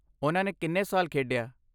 ਓਨ੍ਹਾਂ ਨੇ ਕਿੰਨੇ ਸਾਲ ਖੇਡਿਆ?